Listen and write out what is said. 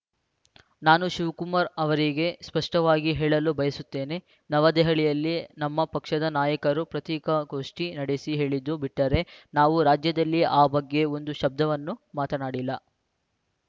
ನಾನು ಶಿವಕುಮಾರ್‌ ಅವರಿಗೆ ಸ್ಪಷ್ಟವಾಗಿ ಹೇಳಲು ಬಯಸುತ್ತೇನೆ ನವ ದೆಹಲಿಯಲ್ಲಿ ನಮ್ಮ ಪಕ್ಷದ ನಾಯಕರು ಪತ್ರಿಕಾಗೋಷ್ಠಿ ನಡೆಸಿ ಹೇಳಿದ್ದು ಬಿಟ್ಟರೆ ನಾವು ರಾಜ್ಯದಲ್ಲಿ ಆ ಬಗ್ಗೆ ಒಂದು ಶಬ್ದವನ್ನೂ ಮಾತನಾಡಿಲ್ಲ